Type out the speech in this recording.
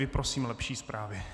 Prosím lepší zprávy.